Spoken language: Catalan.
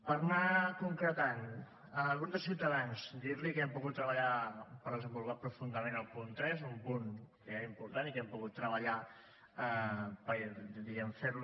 per anar concretant al grup de ciutadans dir li que hem pogut treballar per desenvolupar profundament el punt tres un punt que era important i que hem pogut treballar per diguem ne fer lo